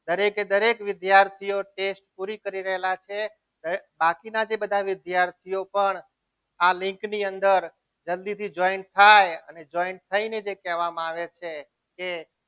દરેકે દરેક વિદ્યાર્થીઓ રહેલા છે બાકીના જે બધા વિદ્યાર્થીઓ જોઈન થઈને જે કહેવામાં આવે છે.